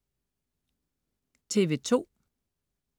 TV2: